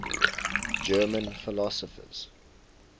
german philosophers